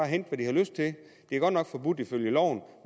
hente hvad de har lyst til det er godt nok forbudt ifølge loven